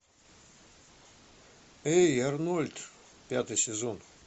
эй арнольд пятый сезон